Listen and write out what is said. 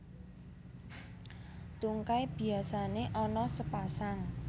Tungkai biasané ana sepasang